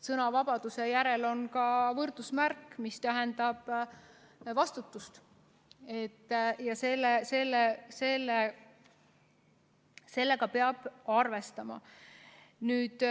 Sõnavabaduse ja vastutuse vahel on võrdusmärk ning sellega peab arvestama.